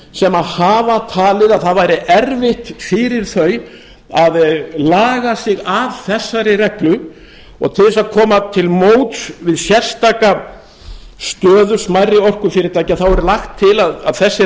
sem hafa talið að það væri erfitt fyrir þau að laga sig að þessari reglu og til þess að koma til móts við sérstaka stöðu smærri orkufyrirtækja er lagt til að þessi